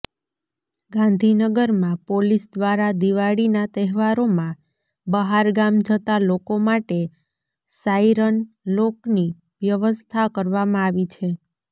ગાંધીનગરમાં પોલીસ દ્વારા દિવાળીના તહેવારોમાં બહારગામ જતા લોકો માટે સાઈરન લોકની વ્યવસ્થા કરવામાં આવી છે